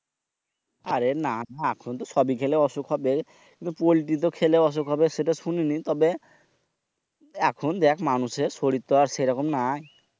আরে না। এখনো সবই খেলে অসুখ হবে। কিন্তু পল্টিতে খেলে অসুখ হবে সেটা শুনিনি তবে এখন দেখ মানুষের শরীরের তো সেই রকম নাই।